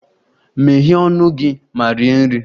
Meghee ọnụ gị ma rie nri!